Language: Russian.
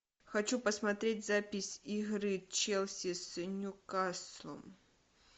хочу посмотреть запись игры челси с ньюкаслом